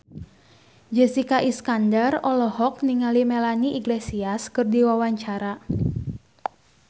Jessica Iskandar olohok ningali Melanie Iglesias keur diwawancara